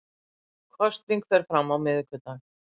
Kosning fer fram á miðvikudag